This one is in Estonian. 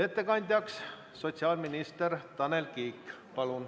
Ettekandja on sotsiaalminister Tanel Kiik.